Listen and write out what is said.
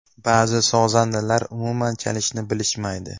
Ba’zi sozandalar umuman chalishni bilishmaydi.